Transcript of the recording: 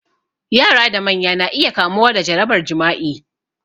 Yara da manya na iya kamuwa da jarabar jima'i